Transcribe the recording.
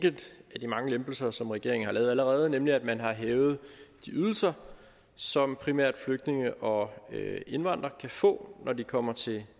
af de mange lempelser som regeringen har lavet allerede nemlig at man har hævet de ydelser som primært flygtninge og indvandrere kan få når de kommer til